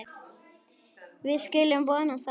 Við skulum vona það.